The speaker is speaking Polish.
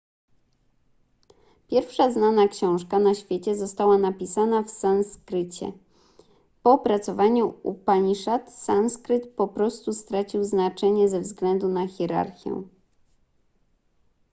pierwsza znana książka na świecie została napisana w sanskrycie po opracowaniu upaniszad sanskryt po prostu stracił znaczenie ze względu na hierarchię